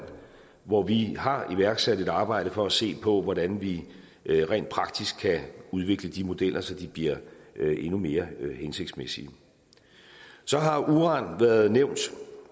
hvor vi har iværksat et arbejde for at se på hvordan vi rent praktisk kan udvikle de modeller så de bliver endnu mere hensigtsmæssige så har uran været nævnt